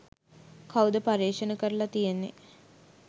කවුද පර්යේෂණ කරල තියෙන්නෙ.